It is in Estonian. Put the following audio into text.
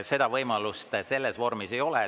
Seda võimalust selles vormis ei ole.